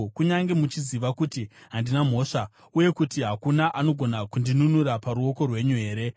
kunyange muchiziva kuti handina mhosva, uye kuti hakuna anogona kundinunura paruoko rwenyu here?